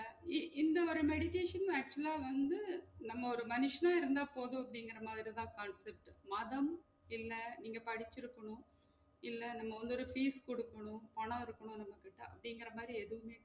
இ~ இந்த ஒரு meditation actual ஆ வந்து நம்ம ஒரு மனுஷனா இருந்தா போதும் அப்டிங்குற மாதிரி தான் concept உ மாதம் இல்ல நீங்க படிச்சிருக்கனும் இல்ல நம்ம வந்து ஒரு fees குடுக்கனும் பணம் இருக்கனும் நம்ம கிட்ட அப்டிங்குற மாதிரி எதுவுமே